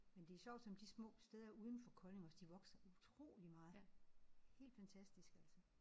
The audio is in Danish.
Men det er sjovt som de små steder uden for Kolding også de vokser utroligt meget helt fantastisk altså